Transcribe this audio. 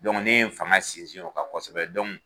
Dɔnku ne ye n fanga sinsin o kan kosɛbɛ dɔnku